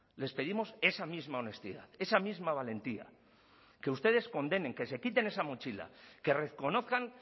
les pedimos esa misma honestidad esa misma valentía que ustedes condenen que se quiten esa mochila que reconozcan